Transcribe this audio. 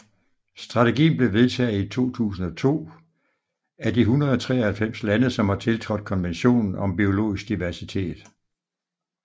Strategien blev vedtaget i 2002 af de 193 lande som har tiltrådt Konventionen om biologisk diversitet